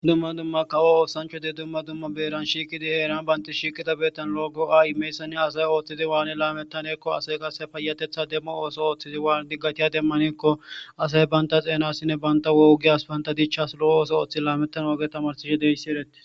dumma dumma kawo oosancho di dumma dumma beeran shiikidi heeran baynti shiiqida beettan lo7ko a imeysani asay ooththidi waani laamettanekko ase qase payatetha demmo ooso ooththizi waan diggatiya demmanekko asay baynta xeenasinne banta woogiyas baynta diichchas lo7o ooso ooththi laamettan woge tamarsihe deyssi eretti